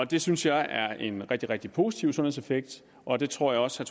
det synes jeg er en rigtig rigtig positiv sundhedseffekt og det tror jeg også